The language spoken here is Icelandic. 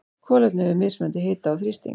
Kolefni við mismunandi hita og þrýsting.